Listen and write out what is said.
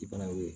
I bana ye o ye